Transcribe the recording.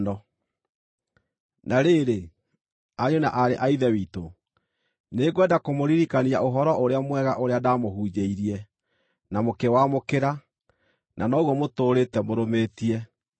Na rĩrĩ, ariũ na aarĩ a Ithe witũ, nĩngwenda kũmũririkania Ũhoro-ũrĩa-mwega ũrĩa ndaamũhunjĩirie, na mũkĩwamũkĩra, na noguo mũtũũrĩte mũrũmĩtie.